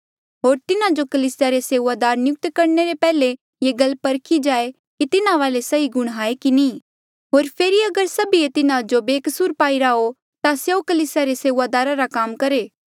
होर तिन्हा जो कलीसिया रे सेऊआदार नियुक्त करणे ले पैहले ये गल परखी जाए कि तिन्हा वाले सही गुण हाए की नी होर फेरी अगर सभिये तिन्हा जो बेकसूर पाईरा हो ता स्यों कलीसिया रे सेऊआदारा रा काम करहे